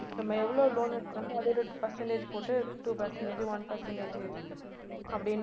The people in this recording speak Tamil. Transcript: நம்ம எவ்வளவு loan எடுக்கிறோமோ அதோட percentage போட்டு two percentage உ one percentage உ அப்படின்னு இது